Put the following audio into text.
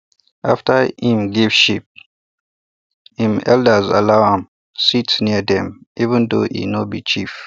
after e um give sheep um elders allow um am sit near them even though e no be chief